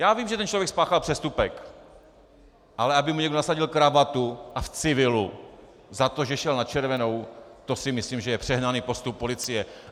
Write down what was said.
Já vím, že ten člověk spáchal přestupek, ale aby mu někdo nasadil kravatu, a v civilu, za to, že šel na červenou, to si myslím, že je přehnaný postup policie.